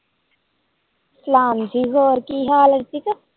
ਸਲਾਮ ਜੀ ਹੋਰ ਕਿ ਹਾਲ ਹੈ ਠੀਕ ਹੈ